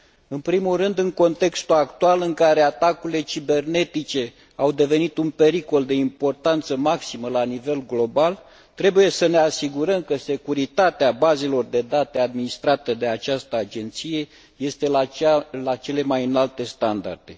În primul rând, în contextul actual, în care atacurile cibernetice au devenit un pericol de importanță maximă la nivel global, trebuie să ne asigurăm că securitatea bazelor de date administrate de această agenție este la cele mai înalte standarde.